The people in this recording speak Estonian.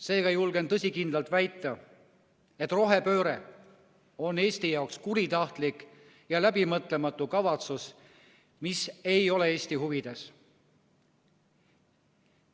Seega julgen tõsikindlalt väita, et rohepööre on Eesti jaoks kuritahtlik ja läbimõtlematu kavatsus, mis ei ole Eesti huvides.